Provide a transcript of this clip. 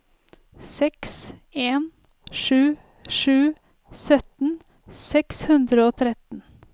seks en sju sju sytten seks hundre og tretten